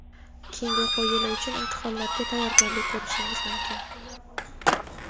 keyingi o‘quv yili uchun imtihonlarga tayyorgarlik ko‘rishingiz mumkin.